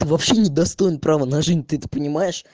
вообще не достоин право на жизнь ты это понимаешь